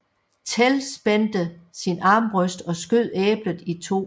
Tell spændte sin armbrøst og skød æblet i to